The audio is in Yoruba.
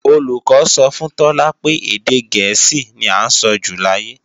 Olùkọ́ sọ fún Tọ́lá pé èdè gẹ̀ẹ́sì ní à ń sọjù láyé